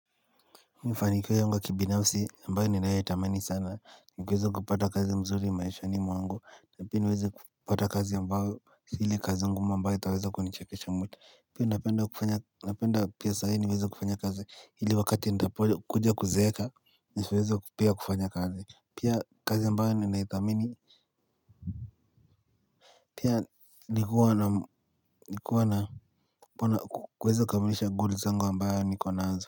Mafanikio yangu ya kibinafsi ambayo ninayoitamani sana, nikuweza kupata kazi mzuri maishani mwangu, na pia niweze kupata kazi ambayo si ile kazi ngumu ambayo itaweza kunichakesha mweta. Pia napenda kufanya napenda pia sahii niweze kufanya kazi hili wakati ntapo kuja kuzeeka, nisiweze pia kufanya kazi. Pia kazi ambayo ninaithamini, pia nikuwa kuweza kukamilisha goal zangu ambayo niko nazo.